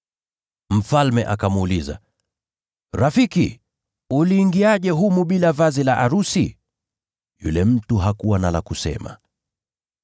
Mfalme akamuuliza, ‘Rafiki, uliingiaje humu bila vazi la arusi?’ Yule mtu hakuwa na la kusema.